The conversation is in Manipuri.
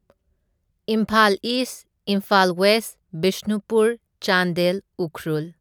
Imphal East, Imphal West, Bishnupur, Chandel, Ukhrul.